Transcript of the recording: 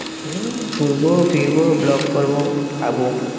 হম ঘুরবো, ফিরবো, vlog করবো, খাবো।